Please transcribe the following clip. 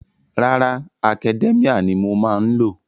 Rárá, Academia ni mo má ń lò.